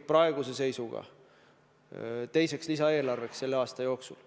praeguse seisuga vajadust teiseks lisaeelarveks selle aasta jooksul.